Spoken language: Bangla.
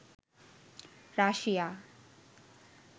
রাশিয়া